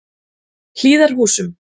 Hlíðarhúsum